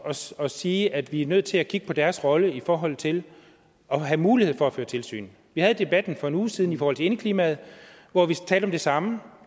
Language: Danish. at sige at vi er nødt til at kigge på deres rolle i forhold til at have mulighed for at føre tilsyn vi havde debatten for en uge siden i forhold til indeklimaet hvor vi talte om det samme